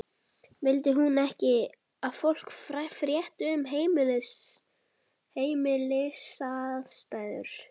Vildi hún ekki að fólk frétti um heimilisaðstæður hennar?